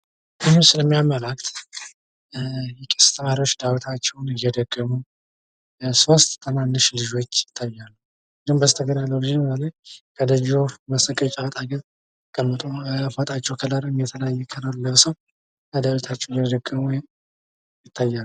ባህል ከትውልድ ወደ ትውልድ የሚተላለፍ ሲሆን የህብረተሰብን ማንነትና ታሪክ ጠብቆ ለማቆየት ወሳኝ ሚና ይጫወታል።